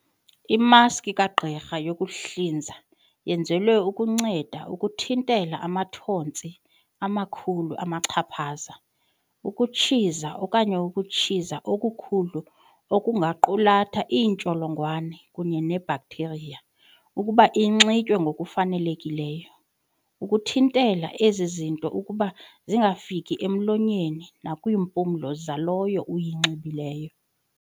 Imaski kagqirha yokuhlinza yenzelwe ukunceda ukuthintela amathontsi amakhulu amachaphaza, ukutshiza, okanye ukutshiza okukhulu okungaqulatha iintsholongwane kunye neebaktheriya ukuba inxitywe ngokufanelekileyo, ukuthintela ezi zinto ukuba zingafiki emlonyeni nakwimpumlo yalowo uyinxibileyo.